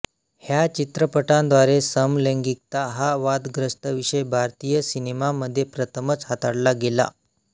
ह्या चित्रपटाद्वारे समलैंगिकता हा वादग्रस्त विषय भारतीय सिनेमामध्ये प्रथमच हाताळला गेला